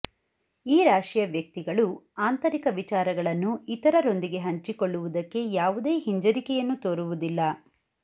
ಈ ರಾಶಿಯ ವ್ಯಕ್ತಿಗಳು ಆಂತರಿಕ ವಿಚಾರಗಳನ್ನು ಇತರರೊಂದಿಗೆ ಹಂಚಿಕೊಳ್ಳುವುದಕ್ಕೆ ಯಾವುದೇ ಹಿಂಜರಿಕೆಯನ್ನು ತೋರುವುದಿಲ್ಲ